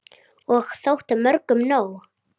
Og þótti mörgum nóg.